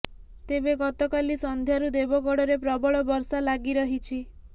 ତେବେ ଗତକାଲି ସଂଧ୍ୟାରୁ ଦେବଗଡରେ ପ୍ରବଳ ବର୍ଷା ଲାଗି ରହିଛି